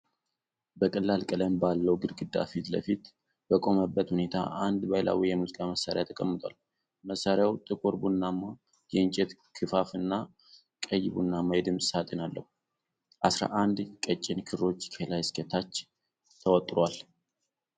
በቀላል ቀለም ባለው ግድግዳ ፊት ለፊት በቆመበት ሁኔታ አንድ ባህላዊ የሙዚቃ መሣሪያ ተቀምጧል:: መሣሪያው ጥቁር ቡናማ የእንጨት ክፈፍ እና ቀይ ቡናማ የድምፅ ሳጥን አለው:: አስራ አንድ ቀጭን ክሮች ከላይ እስከ ታች ተወጥረዋል::